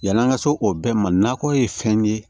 Yan'an ka se o bɛɛ ma nakɔ ye fɛn ye